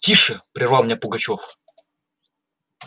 тише прервал меня пугачёв